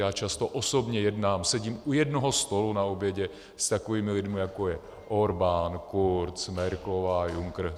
Já často osobně jednám, sedím u jednoho stolu na obědě s takovými lidmi, jako je Orbán, Kurz, Merkelová, Juncker.